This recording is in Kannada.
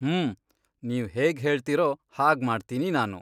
ಹ್ಮೂ, ನೀವ್ ಹೇಗ್ಹೇಳ್ತೀರೋ ಹಾಗ್ಮಾಡ್ತೀನಿ ನಾನು.